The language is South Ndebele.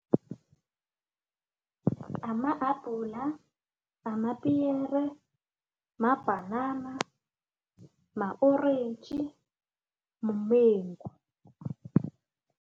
Amahabhula, amapiyere, mabhanana, ma-orentji, mumengu.